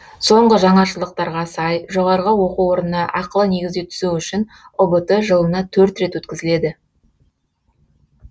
соңғы жаңашылдықтарға сай жоғары оқу орнына ақылы негізде түсу үшін ұбт жылына төрт рет өткізіледі